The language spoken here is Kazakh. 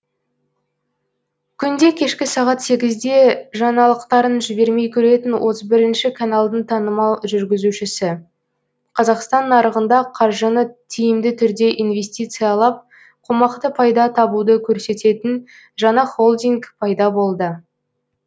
күнде кешкі сағат сегізде жаңалықтарын жібермей көретін отыз бірінші каналдың танымал жүргізушісі қазақстан нарығында қаржыны тиімді түрде инвестициялап қомақты пайда табуды көрсететін жаңа холдинг пайда болды